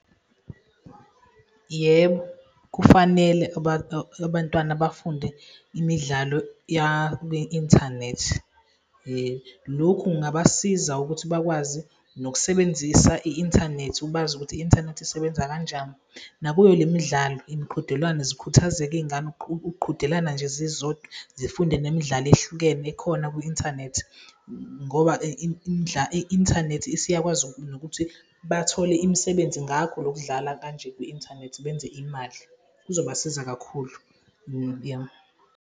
Yebo, kufanele abantwana bafunde imidlalo yakwi-inthanethi. Lokhu kungabasiza ukuthi bakwazi nokusebenzisa i-inthanethi, ubazi ukuthi i-inthanethi isebenza kanjani, nakuyo le midlalo, imiqhudelwano, zikhuthazeke iy'ngane ukuqhudelana nje zizodwa, zifunde nemidlalo ehlukene ekhona kwi-inthanethi ngoba i-inthanethi isiyakwazi nokuthi bathole imisebenzi ngakho lokudlala kanje kwi-inthanethi benze imali, kuzobasiza kakhulu .